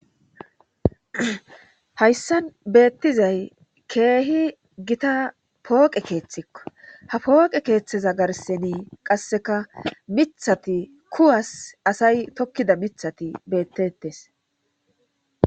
hayssan beettizay keehi gita pooqe keeththikko ha pooqe keeththeza garseni qasseka mithati kuwas asay tokkida mithati beettettes